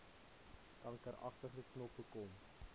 kankeragtige knoppe kom